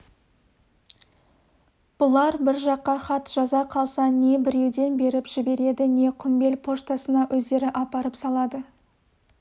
бұлар бір жаққа хат жаза қалса не біреуден беріп жібереді не құмбел поштасына өздері апарып салады